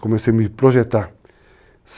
Comecei a me projetar.